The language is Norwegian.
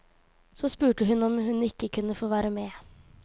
Så spurte hun om hun ikke kunne få være med.